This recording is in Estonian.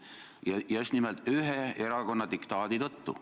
Ja just nimelt ühe erakonna diktaadi tõttu.